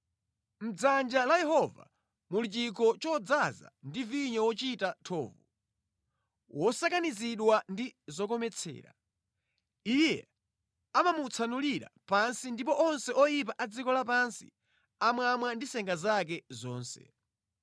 Mʼdzanja la Yehova muli chikho chodzaza ndi vinyo wochita thovu, wosakanizidwa ndi zokometsera; Iye amamutsanulira pansi ndipo onse oyipa a dziko lapansi amamwa ndi senga zake zonse.